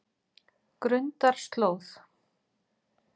Grundarslóð